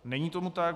Není tomu tak.